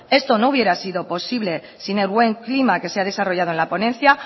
esto no hubiera sido posible sin el buen clima que se ha desarrollado la ponencia